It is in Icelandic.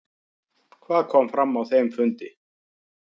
Hvað kom fram á þeim fundi?